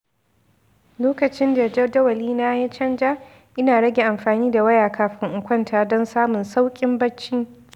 Lokacin da jadawalina ya canza, ina rage amfani da waya kafin in kwanta don samun sauƙin bacci.